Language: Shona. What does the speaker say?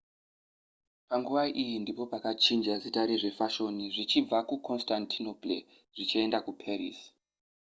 panguva iyi ndipo pakachinja zita rezvefashoni zvichibva kuconstantinople zvichienda kuparis